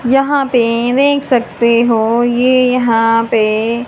यहां पे ये देख सकते हो ये यहां पे--